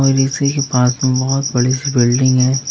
पास में बहोत बड़ी सी बिल्डिंग है।